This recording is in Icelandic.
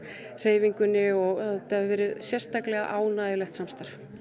æskulýðshreyfingunni og þetta hefur verið sérstaklega ánægjulegt samstarf